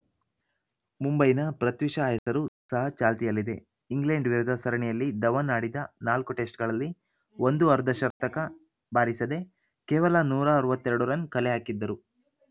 ಮುಂಬೈನ ಪೃಥ್ವಿ ಶಾ ಹೆಸರು ಸಹ ಚಾಲ್ತಿಯಲ್ಲಿದೆ ಇಂಗ್ಲೆಂಡ್‌ ವಿರುದ್ಧ ಸರಣಿಯಲ್ಲಿ ಧವನ್‌ ಆಡಿದ ನಾಲ್ಕು ಟೆಸ್ಟ್‌ಗಳಲ್ಲಿ ಒಂದೂ ಅರ್ಧಶತಕ ಬಾರಿಸದೆ ಕೇವಲ ನೂರ ಅರವತ್ತ್ ಎರಡು ರನ್‌ ಕಲೆಹಾಕಿದ್ದರು